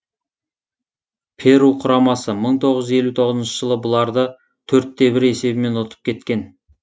перу құрамасы мың тоғыз жүз елу тоғызыншы жылы бұларды төрт те бір есебімен ұтып кеткен